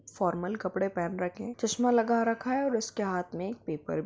formal कपड़े पहेन रखे है चश्मा लगा रखा है और उसके हाथ में एक पेपर --